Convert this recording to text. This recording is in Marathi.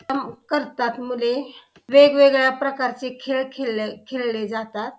करतात मुले वेगवेगळ्या प्रकारचे खेळ खेळले खेळले जातात.